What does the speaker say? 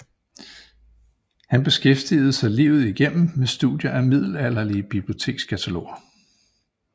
Han beskæftigede sig livet igennem med studier af middelalderlige bibliotekskataloger